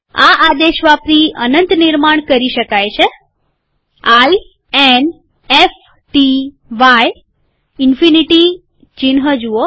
આ આદેશ વાપરી અનંત નિર્માણ કરી શકાય છે I N F T Y ઈનફીનીટીચિહ્ન જુઓ